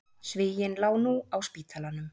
Svíinn lá nú á spítalanum.